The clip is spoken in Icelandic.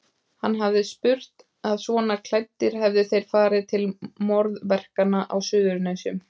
Hann hafði spurt að svona klæddir hefðu þeir farið til morðverkanna á Suðurnesjum.